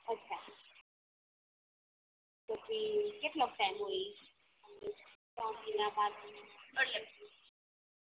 પછી કેટલોક ટાઇમ હોય ત્રણ મહિના પાંચ મહિન